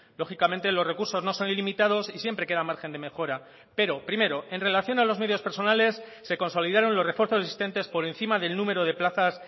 lógicamente los recursos no son ilimitados y siempre queda margen de mejora pero primero en relación a los medios personales se consolidaron los refuerzos existentes por encima del número de plazas